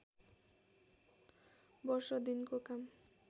वर्ष दिनको काम